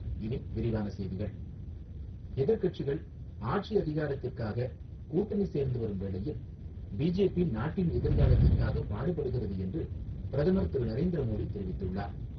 இனி விரிவான செய்திகள் எதிர்கட்சிகள் ஆட்சி அதிகாரத்திற்காக கூட்டணி சேர்ந்து வரும் வேளையில், பிஜேபி நாட்டின் எதிர்காலத்திற்காக பாடுபடுகிறது என்று பிரதமர் திரு நரேந்திர மோடி தெரிவித்துள்ளார்.